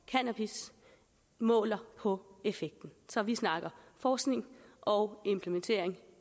cannabis måler på effekten så vi snakker forskning og implementering